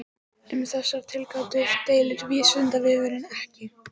Um þessar tilgátur deilir Vísindavefurinn ekki.